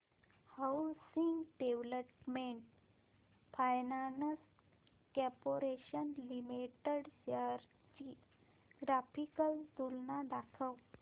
housing development finance corporation limited shares ची graphical तुलना दाखव